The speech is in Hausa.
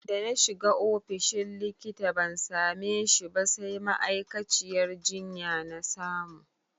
Dana shiga ofishin likita ban same shi ba sai ma'aikaciyar jinya na samu.